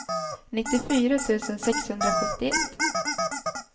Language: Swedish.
nittiofyra tusen sexhundrasjuttioett